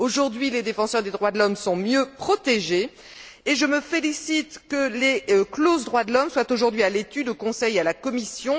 Aujourd'hui, les défenseurs des droits de l'homme sont mieux protégés et je me félicite de ce que les clauses droits de l'homme soient aujourd'hui à l'étude au Conseil et à la Commission.